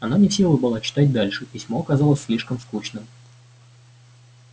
она не в силах была читать дальше письмо оказалось слишком скучным